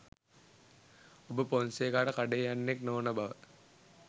ඔබ පොන්සේකාට කඩේ යන්නෙක් නොවන බව